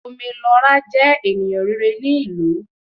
Ome Lo Ra jẹ ènìyàn rere ní ìlú